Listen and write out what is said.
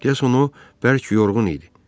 Deyəsən o bərk yorğun idi.